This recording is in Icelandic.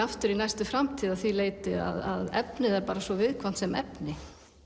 í næstu framtíð að því leyti að efnið er svo viðkvæmt sem efni